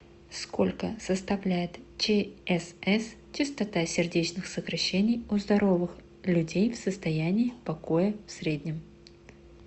сколько составляет чсс частота сердечных сокращений у здоровых людей в состоянии покоя в среднем